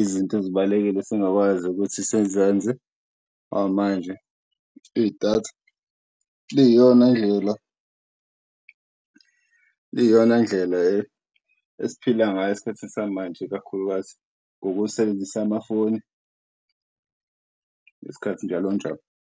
izinto ezibalulekile singakwazi ukuthi sizenze ngoba manje idatha liyiyona ndlela esiphila ngayo eskhathini samanje ikakhulukazi, ngokusebenzisa amafoni ngesikhathi njalo njalo.